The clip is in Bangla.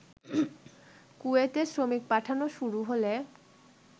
কুয়েতে শ্রমিক পাঠানো শুরু হলে